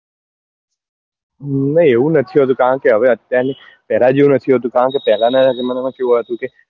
નાં એવું નથી હોતું કારણ કે હવે અત્યાર નું પેલા જેવું નથી હોતું કારણ કે પેલા નાં જમાના માં કેવું હતું કે